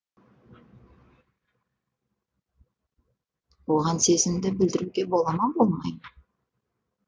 оған сезімді білдіруге бола ма болмай ма